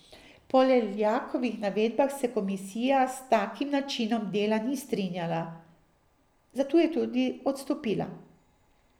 Po Leljakovih navedbah se komisija s takim načinom dela ni strinjala, zato je tudi odstopila.